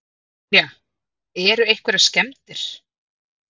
Brynja: Eru einhverjar skemmdir?